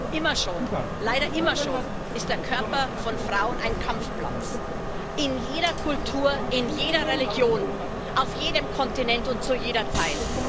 Frau Präsidentin! Immer schon, leider immer schon, ist der Körper von Frauen ein Kampfplatz. In jeder Kultur, in jeder Religion, auf jedem Kontinent und zu jeder Zeit.